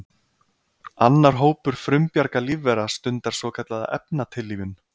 Annar hópur frumbjarga lífvera stundar svokallaða efnatillífun.